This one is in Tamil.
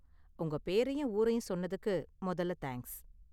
உங்க பேரையும் ஊரையும் சொன்னதுக்கு மொதல்ல தேங்க்ஸ்.